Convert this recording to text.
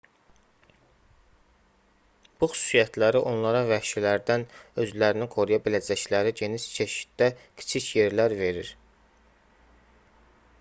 bu xüsusiyyətləri onlara vəhşilərdən özlərini qoruya biləcəkləri geniş çeşiddə kiçik yerlər verir